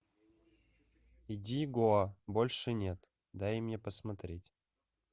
иди гоа больше нет дай мне посмотреть